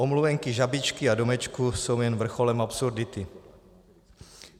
Omluvenky, žabičky a domečky jsou jen vrcholem absurdity.